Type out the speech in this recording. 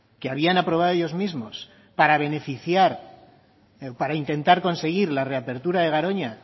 que habían aprobado ellos mismos para beneficiar para intentar conseguir la reapertura de garoña